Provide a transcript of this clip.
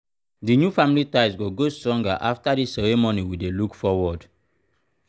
the new family ties go grow stronger after this ceremony we dey look forward.